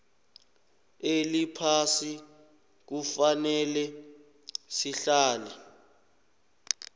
eliphasi kufanele sihlale